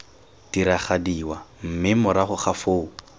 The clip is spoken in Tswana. diragadiwa mme morago ga foo